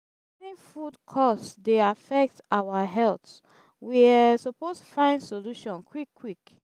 rising food cost dey affect our health we um suppose find solution quick quick.